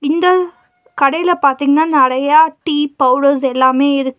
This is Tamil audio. இந்த கடைல பாத்தீங்னா நெறையா டீ பவுடர்ஸ் எல்லாமே இருக்கு.